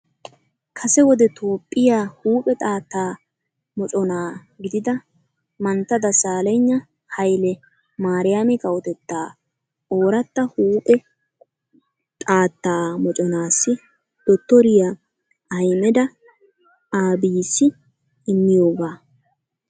Kase wode Toophphiyaa huuphe xaatta mocona gidida mantta Dasaaleyigna Hayile maariyaami kawotetta oraatta huuphe xaatta moconaassi dottoriyaa Ahimeda Aabiyissi immiyoogaa.